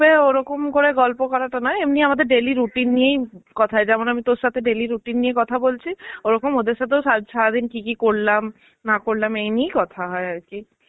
ওরকম করে গল্প করাটা নয়, এমনই আমাদের daily routine নিয়েই কথা হয় যেমন আমি তর সাথে daily routine নিয়ে কথা বলছি ওরকম ওদের সাথেও সা~ সারাদিন কি কি করলাম না করলাম এই নিয়েই কথা হয় আর কি.